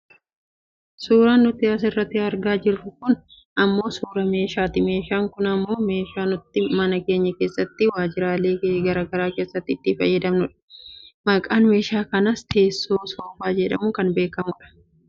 Suuraan nuti asirratti argaa jirru kun ammoo suuraa meeshaati meeshaan kun ammoo meeshaa nuti mana keenya keessattifi waajiraalee gara garaa keessatti itti fayyadamnudha. Maqaan meeshaa kanaas teessoo soofaa jedhamuun beekkamudha.